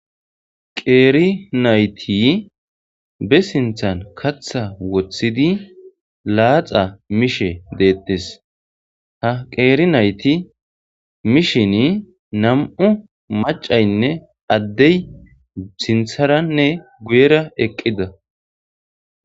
Qeeri nayti be sinthan katha wothidi laaxa mishe detes. Ha qeeri nayti mishini nam'u macatinne Adey sintharanne guyera eqida.